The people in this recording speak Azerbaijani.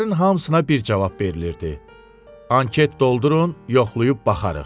Elçilərin hamısına bir cavab verilirdi: Anket doldurun, yoxlayıb baxarıq.